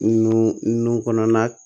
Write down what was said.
Nun nun kɔnɔna